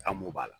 An m'a la